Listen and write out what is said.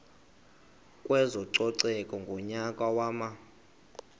kwezococeko ngonyaka wama